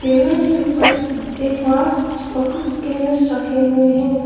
Table के ऊपर एक और कुछ स्कैनर्स रखे हुए हैं।